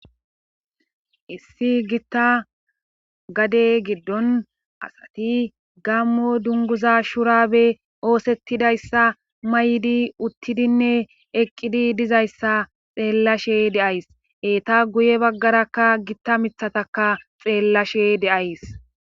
issi gitta gade giddon asati gammo dunguza shuraabe oosettidayssa may7di uttidinne eqqidi dizayssa xeellashe deays eeta guye baggarakka gitta mithataka xeellashe deays